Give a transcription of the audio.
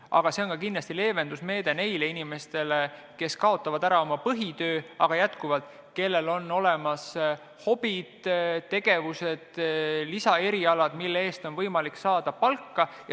Samas on see kindlasti leevendusmeede neile inimestele, kes on kaotanud oma põhitöö, aga ka neile, kellel on olemas hobid, tegevused või lisaerialad, mille eest on võimalik saada palka.